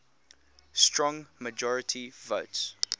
strong majority votes